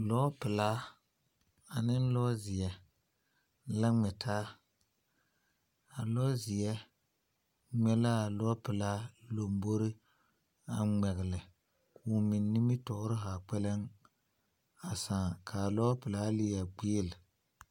lɔpelaa ane lɔ zeɛ la ŋmɛ taa. A lɔzeɛ ŋmɛ la a lɔpelaa lambori a ŋmɛgele. Ka o meŋ nimitɔɔre haa kpɛlɛŋ a sãã. Ka a lɔɔ pelaa leɛ gbeele.